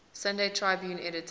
sunday tribune editor